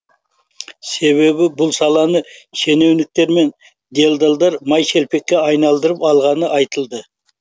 себебі бұл саланы шенеуніктер мен делдалдар май шелпекке айналдырып алғаны айтылды